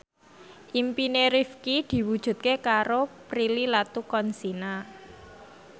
impine Rifqi diwujudke karo Prilly Latuconsina